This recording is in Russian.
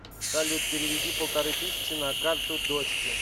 салют переведи полторы тысячи на карту дочке